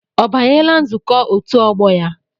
Ọ banyela nzukọ otu ọgbọ ya?